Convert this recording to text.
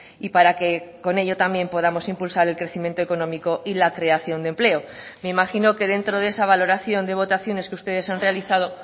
y para que con ello también podamos impulsar el crecimiento económico y la creación de empleo me imagino que dentro de esa valoración de votaciones que ustedes han realizado